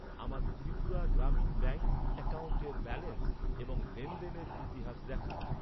আমার ত্রিপুরা গ্রামীণ ব্যাঙ্ক অ্যাকাউন্টের ব্যালেন্স এবং লেনদেনের ইতিহাস দেখান।